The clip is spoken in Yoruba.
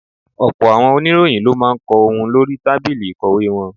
Ọ̀pọ̀ àwọn oníròyìn ló máa ń kọ ohun lórí tábìlì ìkọ̀wé wọn.